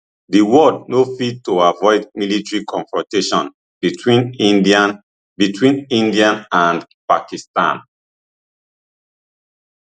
di world no fit to afford military confrontation between india between india and pakistan